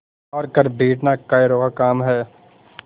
हार कर बैठना कायरों का काम है